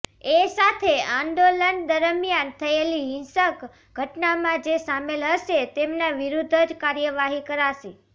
એ સાથે આંદોલન દરમિયાન થયેલી હિંસક ઘટનામાં જે સામેલ હશે તેમના વિરૂદ્ધ જ કાર્યવાહી કરાશે